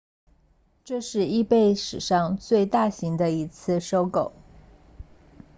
这是 ebay 史上最大型的一次收购